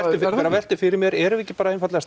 velti fyrir mér erum við ekki bara einfaldlega